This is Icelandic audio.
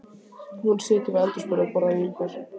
Hún situr við eldhúsborðið og borðar vínber.